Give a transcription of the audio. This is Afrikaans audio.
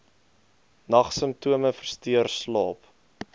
nagsimptome versteur slaap